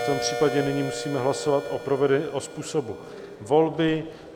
V tom případě nyní musíme hlasovat o způsobu volby.